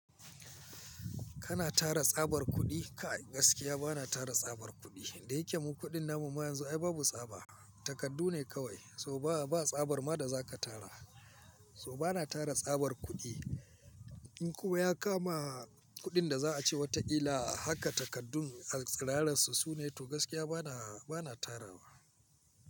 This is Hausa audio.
Kana tara tsabar kuɗi? Kai gaskiya bana tara tsabar kuɗi. Inda yake mun kuɗin namu ma yanzu ai babu tsaba, takardu ne kawai. Toh tsabar ma da zaka tara. So bana tara tsabar kuɗi. In kuma ya kama kuɗin da za a ce wataƙila haka takardun a ƙalar su sune to gaskiya bana, bana tara ba.